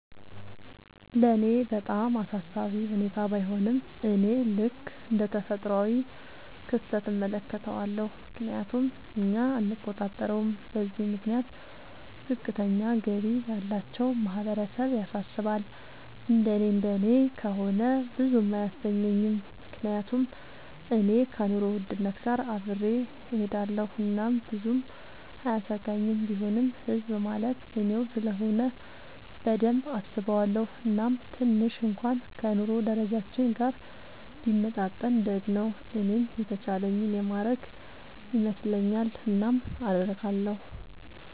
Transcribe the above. ለኔ በጣም አሳሳቢ ሁኔታ ባይሆንም፤ እኔ ልክ እንደ ተፈጥሯዊ ክስተት እመለከተዋለሁ፤ ምክንያቱም እኛ አንቆጣጠረውም። በዚህም ምክንያት ዝቅተኛ ገቢ ያላቸው ማህበረሰብ ያሳስባል፤ እንደኔ እንደኔ ከሆነ ብዙም አያሰኘኝም፤ ምክንያቱም እኔ ከኑሮ ውድነት ጋር አብሬ እሆዳለኹ እናም ብዙም አያሰጋኝም፤ ቢሆንም ህዝብ ማለት እኔው ስለሆነ በደንብ አስበዋለው፤ እናም ትንሽ እንኩዋን ከ ኑሮ ደረጃችን ጋር ቢመጣጠን ደግ ነው። እኔም የተቻለኝን የማረግ ይመስለኛል። እናም አረጋለው።